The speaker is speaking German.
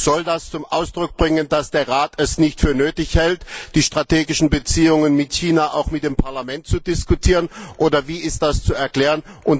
Soll das zum Ausdruck bringen, dass der Rat es nicht für nötig hält, die strategischen Beziehungen mit China auch mit dem Parlament zu diskutieren, oder wie ist das zu erklären?